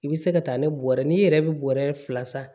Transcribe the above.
I bɛ se ka taa ni bɔrɛ ye n'i yɛrɛ bɛ bɔrɛ fila san